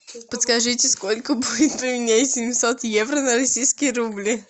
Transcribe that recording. подскажите сколько будет поменять семьсот евро на российские рубли